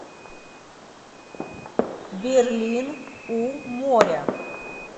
берлин у моря